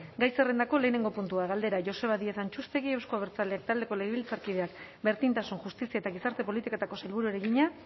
gai zerrendako batgarrena puntua galdera joseba díez antxustegi euzko abertzaleak taldeko legebiltzarkideak berdintasun justizia eta gizarte politiketako sailburuari egina